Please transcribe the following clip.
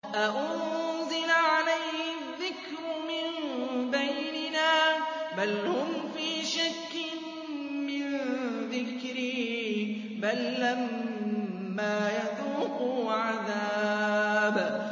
أَأُنزِلَ عَلَيْهِ الذِّكْرُ مِن بَيْنِنَا ۚ بَلْ هُمْ فِي شَكٍّ مِّن ذِكْرِي ۖ بَل لَّمَّا يَذُوقُوا عَذَابِ